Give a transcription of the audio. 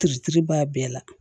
Kiritiri b'a bɛɛ la